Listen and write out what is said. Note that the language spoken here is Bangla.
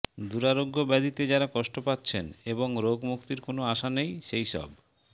দুরারোগ্য ব্যধিতে যাঁরা কষ্ট পাচ্ছেন এবং রোগমুক্তির কোনও আশা নেই সেইসব